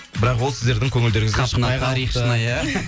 бірақ ол сіздердің көңілдеріңіз